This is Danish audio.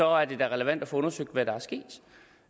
er det da relevant at få undersøgt hvad der